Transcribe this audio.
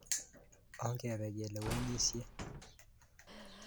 Ongepe kelewenisye.